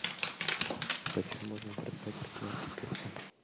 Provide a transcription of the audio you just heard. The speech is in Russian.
почем можно продать пятнадцать песо